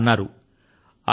ఆయన ఇలా అన్నారు